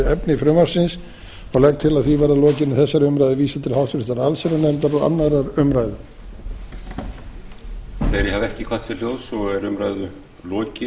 efni frumvarpsins og legg til að því verði að lokinni þessari umræðu vísað til háttvirtrar allsherjarnefndar og annarrar umræðu